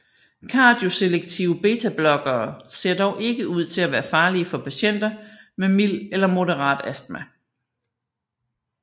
Kardioselektive betablokkere ser dog ikke ud til at være farlige for patienter med mild eller moderat astma